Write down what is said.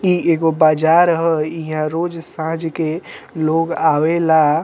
इ एगो बाजार ह इहां रोज साँझ के लोग आवेला।